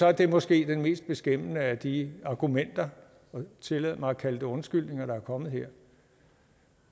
er det måske det mest beskæmmende af de argumenter og tillad mig at kalde det undskyldninger der er kommet her